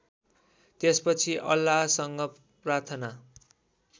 त्यसपछि अल्लाहसँग प्रार्थना